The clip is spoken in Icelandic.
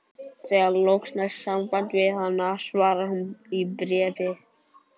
Þegar loks næst samband við hana svarar hún í bréfi